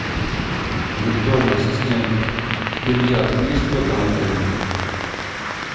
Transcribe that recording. виртуальный ассистент бильярд есть в этом отеле